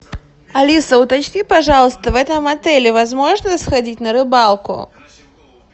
алиса уточни пожалуйста в этом отеле возможно сходить на рыбалку